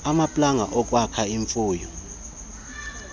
amaplanga okwakha imfuyo